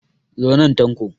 Zo nan Tanko!